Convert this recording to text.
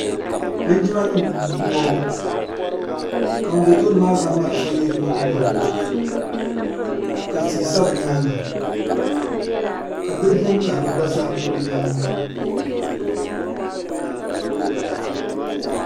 jinmanim n bɔŋɔ ka ŋɔ bɛ tuuni maa zaŋ mariƒɔ yɛ o nyɛgolini ka ti sa be nyɛŋa ka bilidin karili gba za be nyɛŋa